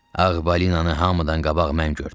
Ağ balinanı hamıdan qabaq mən gördüm.